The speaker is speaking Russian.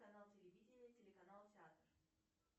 канал телевидения телеканал театр